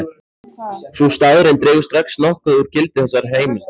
Sú staðreynd dregur strax nokkuð úr gildi þessarar heimildar.